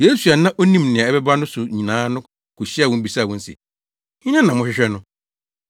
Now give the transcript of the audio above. Yesu a na onim nea ɛbɛba ne so nyinaa no kohyiaa wɔn bisaa wɔn se, “Hena na mohwehwɛ no?”